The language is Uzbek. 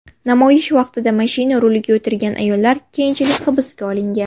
Namoyish vaqtida mashina ruliga o‘tirgan ayollar keyinchalik hibsga olingan.